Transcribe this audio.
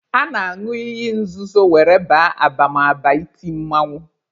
A na-añụ iyi nzuzo were baa abamaba iti mmanwụ.